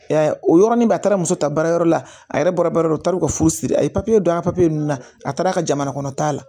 Y'a ye o yɔrɔnin bɛɛ a taara muso ta baarayɔrɔ la a yɛrɛ bɔra baarayɔrɔ la u taara u ka furusiri a ye papiye don a papiye nun na a taara ka jamana kɔnɔ taa la